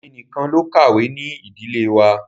Èmi nìkan ló kàwé ní Ìdílé wa.